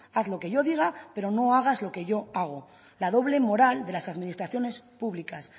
haz lo que yo diga pero no hagas lo que yo hago la doble moral de las administraciones públicas